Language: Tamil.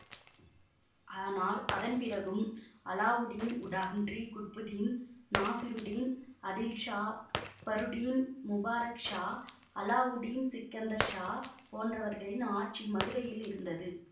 ஆனால் அதன் பிறகும் அல்லாவுடீன் உடான்றி குட்புதீன் நாசிருடீன் அடில்ஷா பஃருடீன் முபாரக் ஷா அல்லாவுடீன் சிக்கந்தர்ஷா போன்றவர்களின் ஆட்சி மதுரையில் இருந்தது